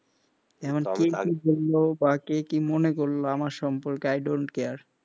এখন কে কি বললো বা কে কি মনে করলো আমার সম্পর্কে i don't care,